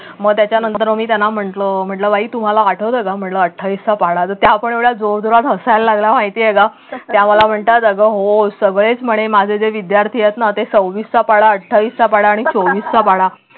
मग त्याच्यानंतर मी त्यांना म्हटलं म्हटलं बाई तुम्हाला आठवतंय का म्हटलं अठ्ठावीस चा पाढा तर त्या पण एवढं जोरजोरात हसायला लागल्या माहिती आहे का त्या मला म्हणतात अगं हो सवयच म्हणे माझे जे विद्यार्थी आहेत ना ते सव्वीसचा पाढा अठ्ठावीसचा पाढा आणि चोवीसचा पाढा